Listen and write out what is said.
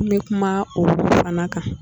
N bɛ kuma o fana kan.